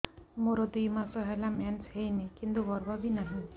ମୋର ଦୁଇ ମାସ ହେଲା ମେନ୍ସ ହେଇନି କିନ୍ତୁ ଗର୍ଭ ବି ନାହିଁ